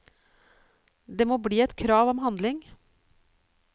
Det må bli et krav om handling.